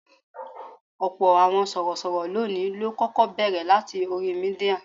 Ọ̀pọ̀ àwọn sorosoro lónìí ló kọ́kọ́ bẹ̀rẹ̀ láti orí Mídíà.